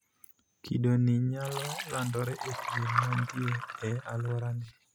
Kido nii nyalo landore e pien mantie ee aluorane.